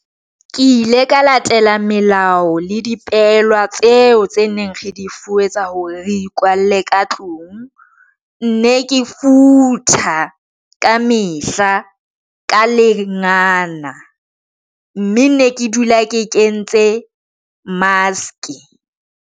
Ke ile ka latela melao le dipehelwa tseo tse neng re di fuwe tsa hore re ikwalle ka tlung. Ne ke futha ka mehla ka lengana mme ne ke dula ke ke ntse mask.